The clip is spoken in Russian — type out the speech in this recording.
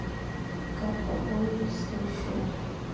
как пополнить свой счет